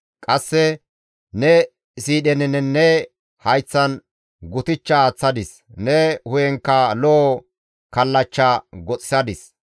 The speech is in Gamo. Qasse ne siidheninne ne hayththan gutichcha aaththadis; ne hu7enkka lo7o kallachcha goxxisadis.